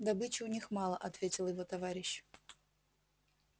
добычи у них мало ответил его товарищ